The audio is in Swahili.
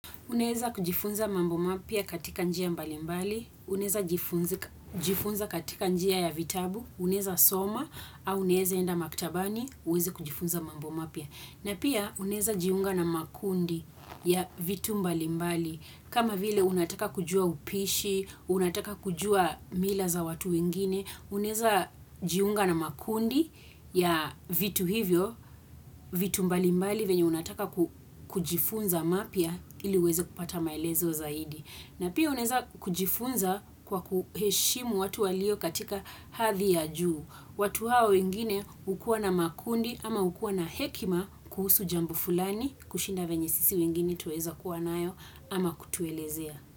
Unaeza kujifunza mambo mapya katika njia mbali mbali, unaeza jifunza katika njia ya vitabu, unaeza soma, au unaeza enda maktabani, uweze kujifunza mambo mapya. Na pia unaeza jiunga na makundi ya vitu mbali mbali. Kama vile unataka kujua upishi, unataka kujua mila za watu wengine, unaeza jiunga na makundi ya vitu hivyo, vitu mbali mbali venye unataka kujifunza mapya ili uweze kupata maelezo zaidi. Na pia unaeza kujifunza kwa kuheshimu watu walio katika hadhi ya juu. Watu hao wengine hukua na makundi ama hukua na hekima kuhusu jambo fulani kushinda venye sisi wengine twaweza kuwa nayo ama kutuelezea.